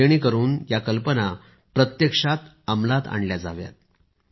जेणेकरुन त्या कल्पना प्रत्यक्षात अमलात आणल्या जाव्यात